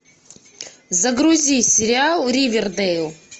загрузи сериал ривердэйл